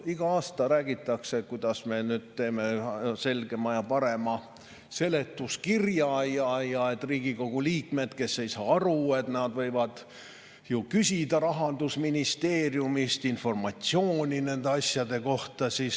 Iga aasta räägitakse, kuidas me nüüd teeme selgema ja parema seletuskirja ja et Riigikogu liikmed, kes ei saa aru, võivad küsida Rahandusministeeriumist informatsiooni nende asjade kohta.